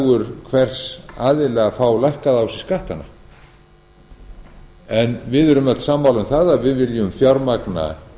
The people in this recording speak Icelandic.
hagur hvers aðila að fá lækkaða á sig skattana við erum öll sammála um það að við viljum fjármagna